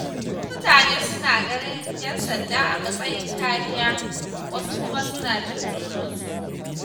Wasu mutanen suna ganin ƴan sanda a matsayin kariya, wasu kuma suna jin tsoronsu.